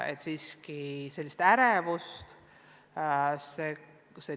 Esineb ärevust.